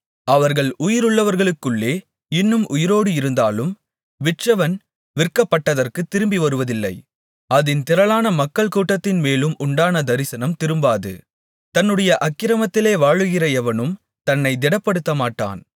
அவர்கள் உயிருள்ளவர்களுக்குள்ளே இன்னும் உயிரோடு இருந்தாலும் விற்றவன் விற்கப்பட்டதற்குத் திரும்பிவருவதில்லை அதின் திரளான மக்கள் கூட்டத்தின் மேலும் உண்டான தரிசனம் திரும்பாது தன்னுடைய அக்கிரமத்திலே வாழுகிற எவனும் தன்னைத் திடப்படுத்தமாட்டான்